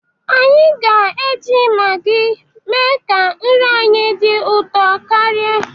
Anyi ga-eji Magi mee ka nri anyị dị ụtọ karịa.